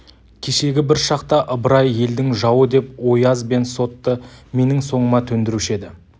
кешегі бір шақта ыбырай елдің жауы деп ояз бен сотты менің соңыма төндіруші еді